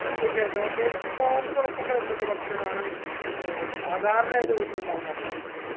തീർച്ചയായിട്ട് okay നിങ്ങൾ നോമ്പ് തുറക്കുമ്പോ എന്തൊക്കെ ഭക്ഷണാണ് ഏർ സാധാരണയായിട്ട് വീട്ടിൽ ഇണ്ടാക്കാറുള്ളത്